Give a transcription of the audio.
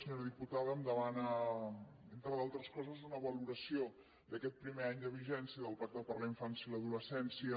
senyora diputada em demana entre d’altres coses una valoració d’aquest primer any de vigència del pacte per a la infància i l’adolescència